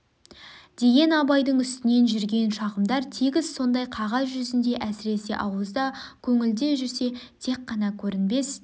деген абайдың үстінен жүрген шағымдар тегіс сондай қағаз жүзінде әсіресе ауызда көңілде жүрсе тек қана көрінбес